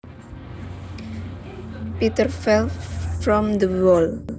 Peter fell from the wall